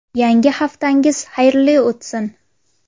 Yangi haftangiz xayrli o‘tsin.